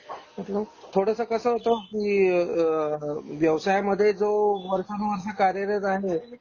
आपलं थोडस कस होत कि आह व्यवसायमध्ये जो वर्षानुवर्षे कार्यालयात आहे त्यांचे